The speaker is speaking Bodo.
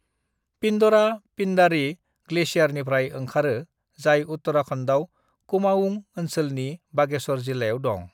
पिंडरा पिंडारी ग्लेशियरनिफ्राय ओंखारो जाय उत्तराखंडआव कुमाऊं ओनसोलनि बागेश्वर जिल्लायाव दं।